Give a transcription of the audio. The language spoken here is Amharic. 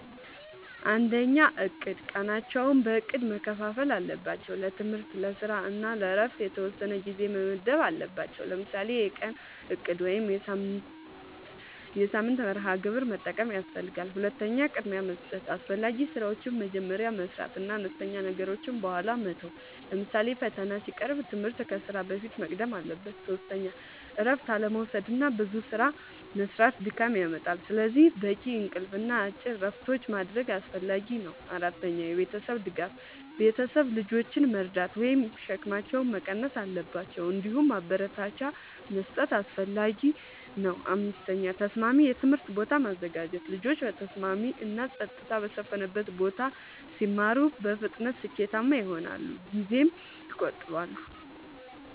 ፩. እቅድ፦ ቀናቸውን በእቅድ መከፋፈል አለባቸው። ለትምህርት፣ ለስራ እና ለእረፍት የተወሰነ ጊዜ መመደብ አለባቸዉ። ለምሳሌ የቀን እቅድ ወይም የሳምንት መርሃ ግብር መጠቀም ያስፈልጋል። ፪. ቅድሚያ መስጠት፦ አስፈላጊ ስራዎችን መጀመሪያ መስራት እና አነስተኛ ነገሮችን በኋላ መተው። ለምሳሌ ፈተና ሲቀርብ ትምህርት ከስራ በፊት መቅደም አለበት። ፫. እረፍት አለመዉሰድና ብዙ ስራ መስራት ድካም ያመጣል። ስለዚህ በቂ እንቅልፍ እና አጭር እረፍቶች ማድረግ አስፈላጊ ነው። ፬. የቤተሰብ ድጋፍ፦ ቤተሰብ ልጆችን መርዳት ወይም ሸክማቸውን መቀነስ አለባቸው። እንዲሁም ማበረታቻ መስጠት አስፈላጊ ነው። ፭. ተስማሚ የትምህርት ቦታ ማዘጋጀት፦ ልጆች በተስማሚ እና ጸጥታ በሰፈነበት ቦታ ሲማሩ በፍጥነት ስኬታማ ይሆናሉ ጊዜም ይቆጥባሉ።